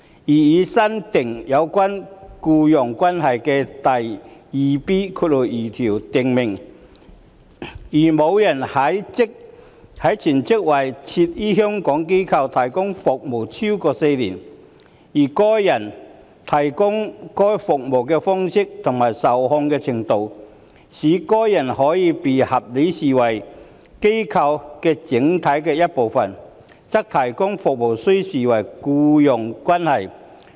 擬議新訂有關"僱傭關係"的第 2B2 條訂明，"如某人全職為設於香港的......機構......提供服務超過4年，而該人提供該等服務的方式及受控制的程度，使該人可被合理視為該機構整體的一部分，則提供服務須視為僱傭關係"。